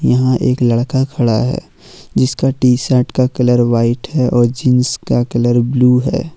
यहां एक लड़का खड़ा है जिसका टी शर्ट का कलर व्हाइट है और जींस का कलर ब्लू है।